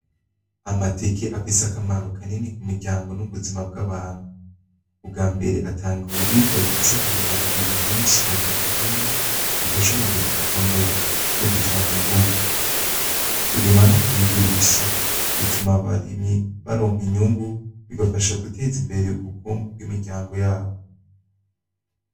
Amateke afise akamaro kanini ku miryango n'ubuzima bw'abantu. Ubwa mbere atanga ibiribwa bifise intungamubiri nyinshi nka vitamine ifasha umubiri gukomera no gutanga inguvu. Kubirima no kubigurisha, bituma abarimyi baronka inyungu, bigafasha guteza imbere ubukungu bw'imiryango yabo.